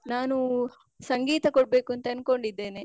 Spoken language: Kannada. ನಾನು ಸಂಗೀತ ಕೊಡ್ಬೇಕು ಅಂತ ಅನ್ಕೊಂಡಿದ್ದೇನೆ.